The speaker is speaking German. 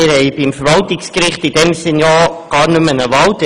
Wir haben beim Verwaltungsgericht gar keine eigentliche Wahl mehr.